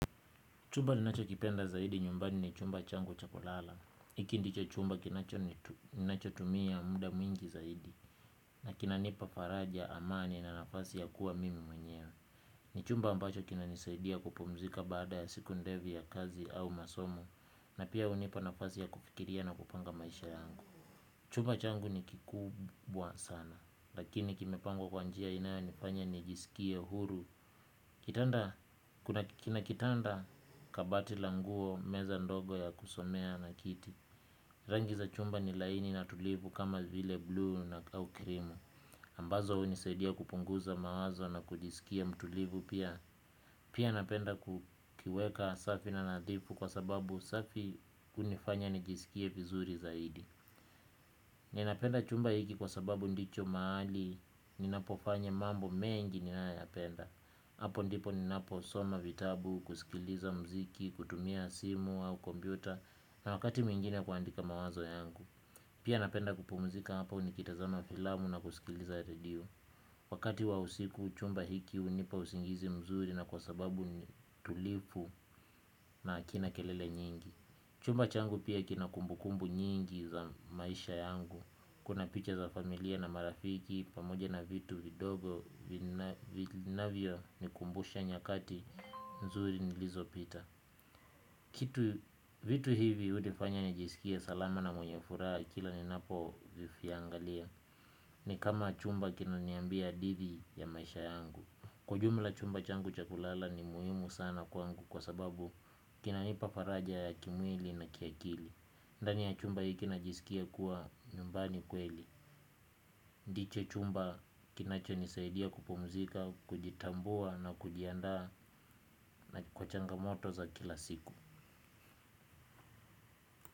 Chumba ninachokipenda zaidi nyumbani ni chumba changu cha kulala. Hiki ndicho chumba ninachotumia muda mwingi zaidi. Na kinanipa faraja amani na nafasi ya kuwa mimi mwenyewe. Ni chumba ambacho kinanisaidia kupumzika baada ya siku ndefu ya kazi au masomo. Na pia hunipa nafasi ya kufikiria na kupanga maisha yangu. Chumba changu ni kikubwa sana. Lakini kimepangwa kwa njia inayonifanya nijisikie huru. Kitanda, kina kitanda kabati la nguo meza ndogo ya kusomea na kiti. Rangi za chumba ni laini na tulivu kama vile blue na au krimu ambazo hunisaidia kupunguza mawazo na kujisikia mtulivu pia. Pia napenda kukiweka safi na nadhifu kwa sababu safi hunifanya nijisikie vizuri zaidi. Ninapenda chumba hiki kwa sababu ndicho mahali ninapofanya mambo mengi ninayoyapenda. Hapo ndipo ninaposoma vitabu kusikiliza muziki kutumia simu au kompyuta na wakati mwingine kuandika mawazo yangu. Pia napenda kupumzika hapa nikitazama filamu na kusikiliza redio. Wakati wa usiku chumba hiki hunipa usingizi mzuri na kwa sababu tulivu na hakina kelele nyingi. Chumba changu pia kina kumbukumbu nyingi za maisha yangu. Kuna picha za familia na marafiki, pamoja na vitu vidogo, vinavyonikumbusha nyakati, nzuri nilizopita. Kitu vitu hivi hunifanya nijisikie salama na mwenye furaha kila ninapoviangalia. Ni kama chumba kinaniambia hadithi ya maisha yangu. Kwa ujumla chumba changu cha kulala ni muhimu sana kwangu kwa sababu kinanipa faraja ya kimwili na kiakili. Ndani ya chumba hiki najisikia kuwa nyumbani kweli. Ndicho chumba kinachonisaidia kupumzika, kujitambua na kujiandaa na kwa changamoto za kila siku.